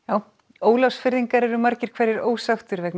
Ólafsfirðingar eru margir hverjir ósáttir vegna